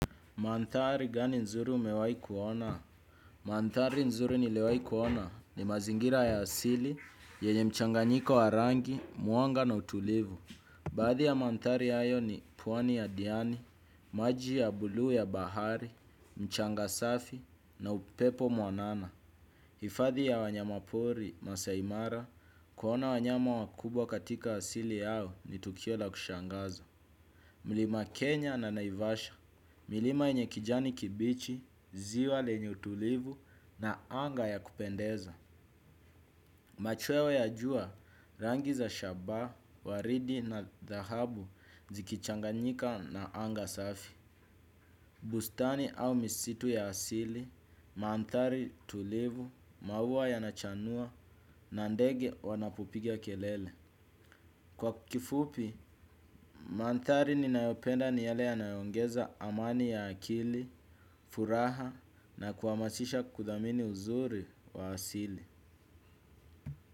Mandhari gani nzuri umewahi kuona? Mandhari nzuri niliwahi kuona ni mazingira ya asili, yenye mchanganyiko wa rangi, mwanga na utulivu. Baadhi ya mandhari hayo ni pwani ya diani, maji ya bluu ya bahari, mchanga safi na upepo mwanana. Hifadhi ya wanyama pori, Masai Mara, kuona wanyama wakubwa katika asili yao ni tukio la kushangaza. Mlima Kenya na naivasha, milima yenye kijani kibichi, ziwa lenye utulivu na anga ya kupendeza. Machweo ya jua, rangi za shaba, waridi na dhahabu zikichanganyika na anga safi. Bustani au misitu ya asili, mandhari tulivu, maua yanachanua, na ndege wanapopiga kelele. Kwa kifupi, mandhari ninayopenda ni yale yanayoongeza amani ya akili, furaha na kuhamasisha kudhamini uzuri wa asili.